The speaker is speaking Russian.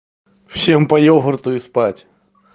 всем по йогурту и спать